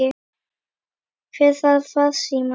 Hver þarf farsíma?